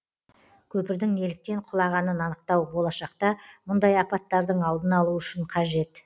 көпірдің неліктен құлағанын анықтау болашақта мұндай апаттардың алдын алу үшін қажет